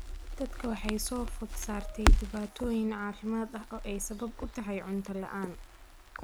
Dadka waxaa soo food saartay dhibaatooyin caafimaad oo ay sabab u tahay cunto la'aan.